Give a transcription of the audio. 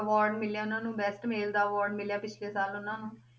Award ਮਿਲਿਆ ਉਹਨਾਂ ਨੂੰ best male ਦਾ award ਮਿਲਿਆ ਪਿੱਛਲੇ ਸਾਲ ਉਹਨਾਂ ਨੂੰ।